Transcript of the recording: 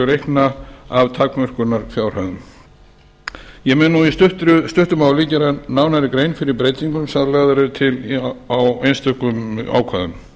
reikna af takmörkunarfjárhæðum ég mun nú í stuttu máli gera nánari grein fyrir breytingum sem lagðar eru til á einstökum ákvæðum